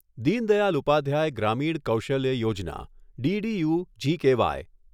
Deen Dayal Upadhyaya Grameen Kaushalya Yojana DDU G K Y